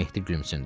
Mehdi gülümsündü.